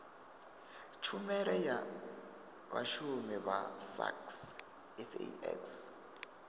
tshumelo ya vhashumi vha sax